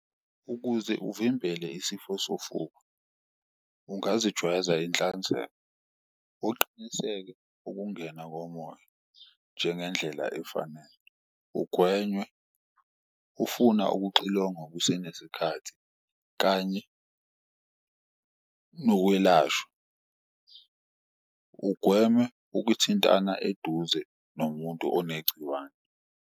Ukuze uvimbele isifo sofuba ungazijwayela inhlanzeko uqiniseke ukungena komoya njengendlela efanele, ugwenywe ufuna ukuxilongwa kusenesikhathi kanye nokwelashwa. Ugweme ukuthintana eduze nomuntu onegciwane.